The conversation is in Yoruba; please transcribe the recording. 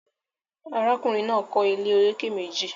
Arákùnrin náà kọ́ ilé olókè meji